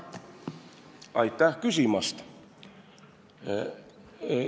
Aitäh küsimast!